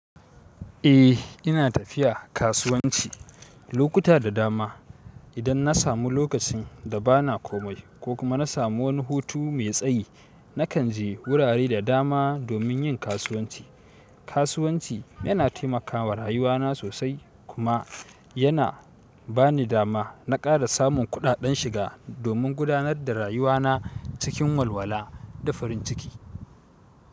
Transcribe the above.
Eh ina tafiya kasuwanci lokuta da dama. Idan na samu lokacin da ba na komai ko kuma na samu wani hutu mai tsayi, nakan je wurare da dama domin yin kasuwanci. Kasuwanci yana taimakawa rayuwana sosai kuma yana ba ni dama na ƙara samun kuɗaɗen shiga domin gudanar da rayuwana cikin walwala da farin ciki.